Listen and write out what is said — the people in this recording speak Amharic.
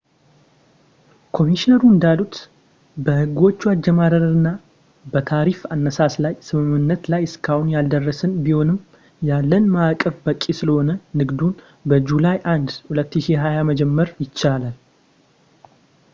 ኮሚሽነሮሩ እንዳሉት፣ በሕጎቹ አጀማመርና በታሪፍ አነሳስ ላይ ስምምነት ላይ እስካሁን ያልደረስን ቢሆንም ያለን ማዕቀፍ በቂ ስለሆነ ንግዱን በjuly 1 2020 መጀመር ይቻላል